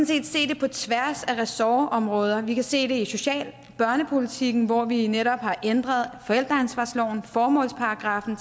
set se det på tværs af ressortområder vi kan se det i social og børnepolitikken hvor vi netop har ændret formålsparagraffen